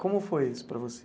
Como foi isso para você?